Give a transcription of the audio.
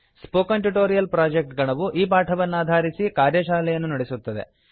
spoken tutorial project ಗಣವು ಈ ಪಾಠವನ್ನಾಧಾರಿಸಿ ಕಾರ್ಯಶಾಲೆಯನ್ನು ನಡೆಸುತ್ತದೆ